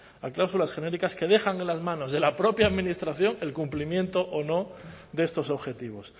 a cláusulas genéricas que dejan en las manos de la propia administración el cumplimiento o no de estos objetivos